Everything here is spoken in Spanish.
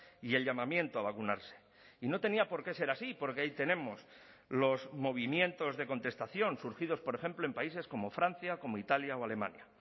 y el llamamiento a vacunarse y no tenía por qué ser así porque ahí tenemos los movimientos de contestación surgidos por ejemplo en países como francia como italia o alemania